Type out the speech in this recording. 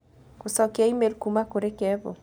gũcokia e-mail kuuma kũrĩ kevo